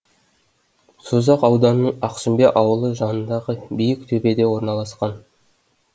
созақ ауданының ақсүмбе ауылы жанындағы биік төбеде орналасқан